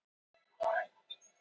Skipakomur fram í september